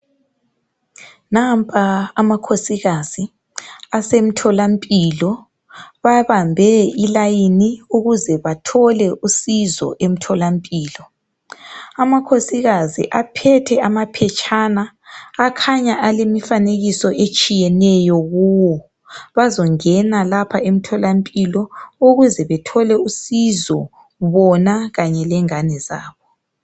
Nampa amakhosikazi asemtholampilo babambe ilayini ukuze bathole usizo emtholampilo. Amakhosikazi aphethe amaphetshana akhanya alemifanekiso etshiyeneyo kuwo bazongena lapha emtholampilo ukuze bethole usizo bona kanye lengane zabo.